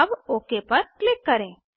अब ओक पर क्लिक करें